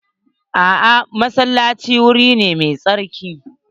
A'a, masallaci wuri ne mai sarki.